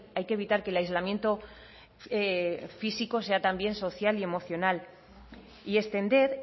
hay que evitar que el aislamiento físico sea también social y emocional y extender